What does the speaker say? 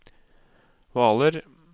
Hvaler